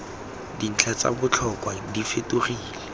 dintlha tsa botlhokwa di fetogele